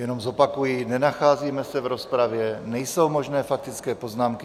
Jenom zopakuji, nenacházíme se v rozpravě, nejsou možné faktické poznámky.